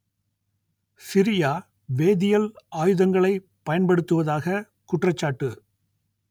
Syria வேதியியல் ஆயுதங்களை பயன்படுத்துவதாக குற்றச்சாட்டு